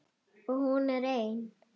Og hún er ein.